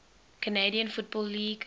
canadian football league